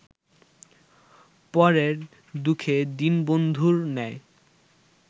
পরের দুঃখে দীনবন্ধুর ন্যায়